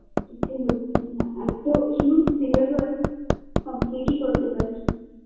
কিছু হচ্ছে না এতো huge syllabus complete -ই করতে পারছিনা